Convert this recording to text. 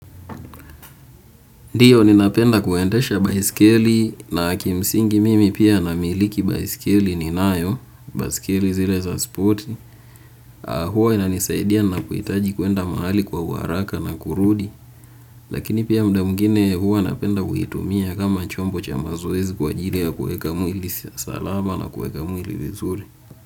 Ndiyo, ninapenda kuendesha baiskeli na kimsingi mimi pia namiliki baiskeli ninayo, baiskeli zile za spoti, huwa inanisaidia ninapohitaji kuenda mahali kwa uharaka na kurudi, lakini pia muda mwingine huwa napenda kuitumia kama chombo cha mazoezi kwa ajili ya kueka mwili salama na kueka mwili vizuri.